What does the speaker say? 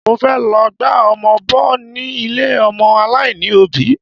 Mo fẹ́ lọ gba ọmọ bọ ni ilé ọmọ aláìní òbí